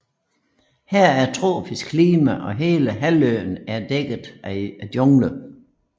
Her er tropisk klima og hele halvøen er dækket af jungle